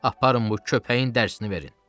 Aparın bu köpəyin dərsini verin.